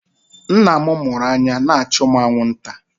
Nna m mụrụ anya na-achụ mụ anwụnta.